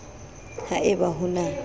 ha e ba ho na